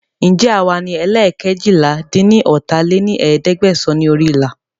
Ǹjẹ́ àwa ní ẹ́leẹ́ẹ́kẹ́ eéjìlá-dín-ní-ọ́ta lé ní ẹ̀ẹ́dẹ́gbẹ́sán ni orí ìlà